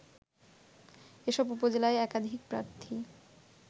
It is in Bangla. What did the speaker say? এসব উপজেলায় একাধিক প্রার্থী